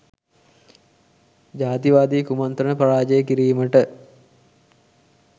ජාතිවාදී කුමන්ත්‍රණ පරාජය කිරීමට